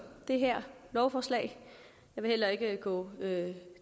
det her lovforslag jeg vil heller ikke gå